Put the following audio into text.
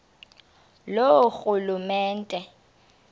loorhulumente